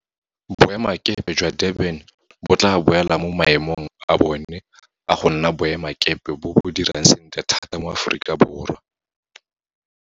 Boemakepe jwa Durban bo tla boela mo maemong a bona a go nna boemakepe bo bo dirang sentle thata mo Aforika.